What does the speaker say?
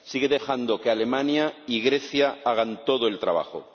Sigue dejando que Alemania y Grecia hagan todo el trabajo.